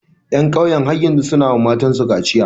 Ƴan kauyen har yanzu su na wa mata matan su kaciya.